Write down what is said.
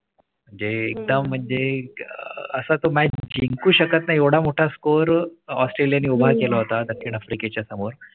. जे एकदा म्हणजे असं तुम्ही जिंकू शकत नाही एवढा मोठा score ऑस्ट्रेलिया ने उभा केला होता. दक्षिण आफ्रिके च्या समोर